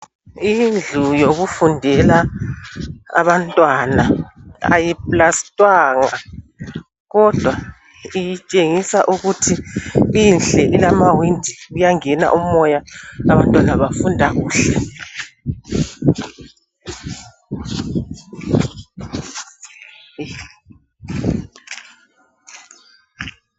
Indlu yokufundela abantwana ayiplastwanga kodwa itshengisa ukuthi inhle ilama windi, kuyangena umoya abantwana bafunda kuhle.